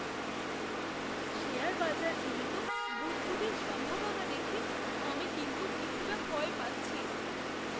Share বাজারজনিত বুদ্বুদের সম্ভাবনা দেখে আমি কিন্তু কিছুটা ভয় পাচ্ছি।